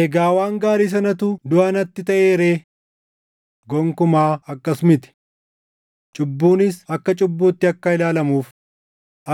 Egaa waan gaarii sanatu duʼa natti taʼee ree? Gonkumaa akkas miti! Cubbuunis akka cubbuutti akka ilaalamuuf,